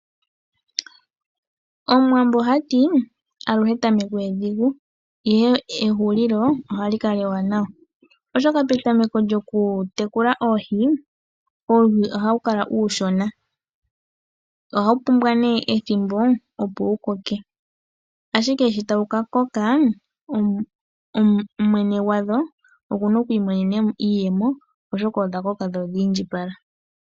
Omuwambo oha ti: "Aluhe etameko edhigu, ihe ehulilo ohali kala ewanawa," oshoka petameko lyokutekula oohi, uuhi ohawu kala uushona. Ohawu pumbwa ethimbo, opo wu koke. Ashike sho tawu ka koka mwene gwadho oku na oku imonena mo iiyemo, oshoka odha koka dho odhi indjipala.